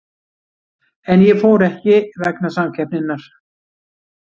En ég fór ekki vegna samkeppninnar.